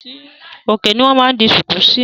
Òkè ni wọn máa ń di sùkú síí.